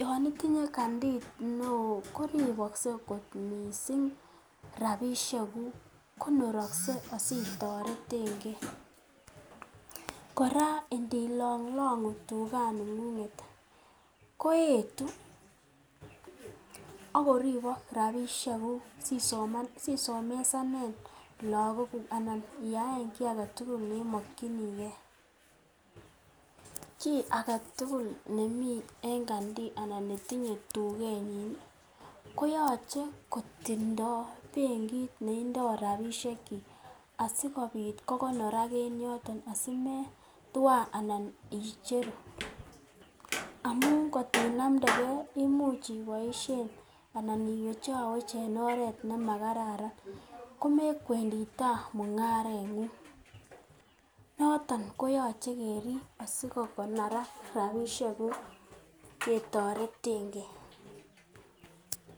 Yon itinye kandi neo koribokse kot mising rabishekuk konorokse as itoretenge. Kora indilanglang'u tuganing'ung'et ko eetu ak koribokrabishekuk si somesanen lagok kuk anan iyaen kiy age tugul ne imokinige. Kiy age tugul nemi en kandi anan netinye en tugenyi koyoche kotindo bengit ne indo rabishekyik asikobit kogonorak en yoto asimetwa anan icheru amun kot inamdege koimuch iboishen anan iwechowech en oret nemakararan. Ko mekwendi tai mung'areng'ung. Noton koyoche kerib asikokonorak rabishekuk itoretenge.